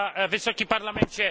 Wysoki Parlamencie!